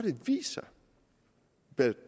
da